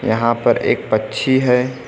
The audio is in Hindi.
यहां पर एक पक्षी है।